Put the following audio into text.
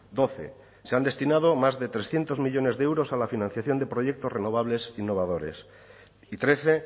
doce se han destinado más de trescientos millónes de euros a la financiación de proyectos renovables innovadores y trece